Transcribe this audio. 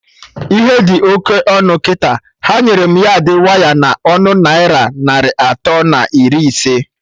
Ihe dị oké ọnụ kịta, ha nyere m yardị waya na ọnụ naira narị atọ na iri ise